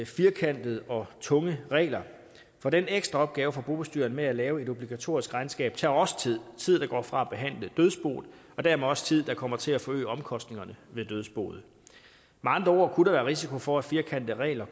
firkantede og tunge regler for den ekstra opgave for bobestyreren med at lave et obligatorisk regnskab tager også tid tid der går fra at behandle dødsboet og dermed også tid der kommer til at forøge omkostningerne ved dødsboet med andre ord kunne der være risiko for at firkantede regler